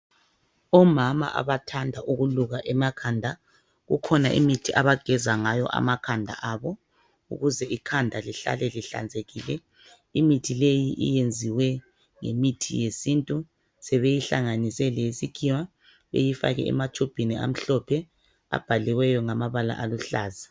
Omama abathanda ukuluka emakhanda kukhona imithi abageza ngayo amakhanda abo ukuze ikhanda lihlale lihlanzekile. Imithi leyi iyenziwe ngemithi yesintu sebeyihlanganise leyesikhiwa beyifake ematshubhini amhlophe abhaliwe ngamabala aluhlaza.